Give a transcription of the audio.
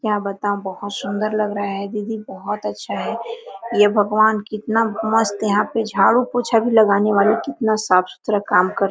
क्या बताऊ बहुत सुन्दर लग रहा है दीदी बहुत अच्छा है हे भगवन! कितना मस्त यहाँ पे झाड़ू पोछा भी लगाने वाली कितना साफ सुथरा काम करती --